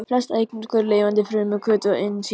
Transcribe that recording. Flest efnahvörf í lifandi frumu eru hvötuð af ensímum.